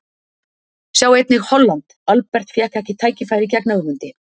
Sjá einnig: Holland: Albert fékk ekki tækifæri gegn Ögmundi